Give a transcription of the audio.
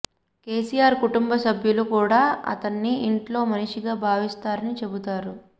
కేసీఆర్ కుటుంబ సభ్యులు కూడా అతన్ని ఇంట్లో మనిషిగా భావిస్తారని చెబుతారు